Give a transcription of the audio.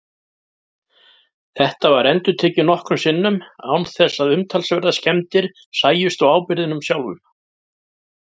Þetta var endurtekið nokkrum sinnum án þess að umtalsverðar skemmdir sæjust á áburðinum sjálfum.